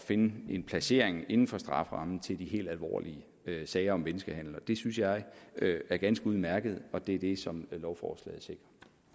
finde en placering inden for strafferammen til de helt alvorlige sager om menneskehandel det synes jeg er ganske udmærket og det er det som lovforslaget sikrer